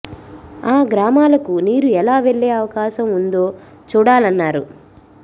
ఆ గ్రా మాలకు నీరు ఎలా వెళ్లే అవకాశం ఉందో చూడాలన్నారు